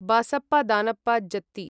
Basappa Danappa जत्ति